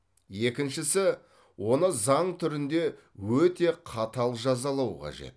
екіншісі оны заң түрінде өте қатал жазалау қажет